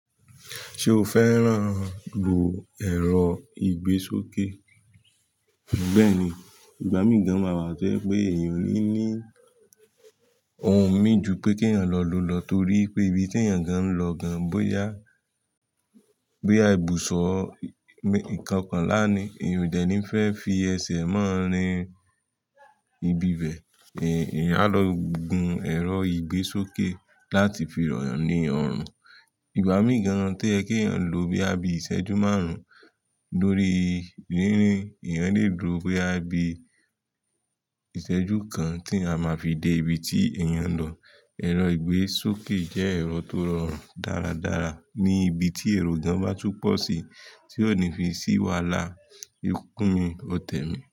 Ṣé o fẹ́ràn lo ẹ̀rọ ìgbésókè? Bẹ́ẹ̀ni, ìgbà míì gan maa wà tío je pé èèyàn ní ní ohun mí ju pé kí èèyàn lọ lọ torí pé ibi tí èèyàn gan lọ gan bóyá bí a ibùsọ̀ kokanlánì, èèyàn ò dẹ̀ ní fẹ́ fi ẹsẹ̀ mọ́ rin ibi bẹ̀. Èèyàn á lọ gun ẹ̀rọ ìgbésókè láti fi ràn ní ọrùn. Ìgbà míì gan tí o yẹ kí èèyàn lo boya bí i ìṣẹ́jú márùn-ún lórí rínrìn, èèyàn lè dúró bóyá bíi ìṣẹ́jú kan tí eeyan máa fi dé ibi tí èèyàn lọ. Ẹ̀rọ ìgbésókè jẹ́ ẹ̀rọ tó rọrùn dáradára ní ibi tí èrò gan bá tú pọ̀ sí tí ò ní fi ṣí wàhálà. Ikú mi, o tẹ̀ mí.